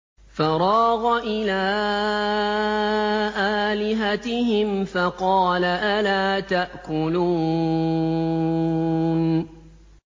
فَرَاغَ إِلَىٰ آلِهَتِهِمْ فَقَالَ أَلَا تَأْكُلُونَ